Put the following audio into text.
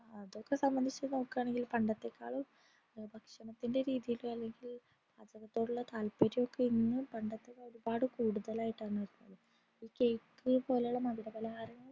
അതൊക്കെ സംബന്ധിച്ചു നോക്കണെങ്കിൽ പണ്ടത്തെ കാളും ഭക്ഷണത്തിൻറെ രീതിൽ അല്ലെങ്കിൽ ഭക്ഷണത്തിനോടുള്ള താത്പര്യം ഒക്കെ ഇന്ന് പണ്ടത്തെ കാളും ഒരുപാട് കൂടുതലായിട്ടാണ് കാണുന്നത് cake പോലുള്ള മധുര പലരങ്ങൾ